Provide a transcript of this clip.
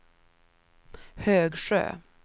Högsjö